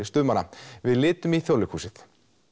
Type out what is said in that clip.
stuðmanna við litum í Þjóðleikhúsið